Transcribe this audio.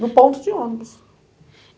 no ponto de ônibus.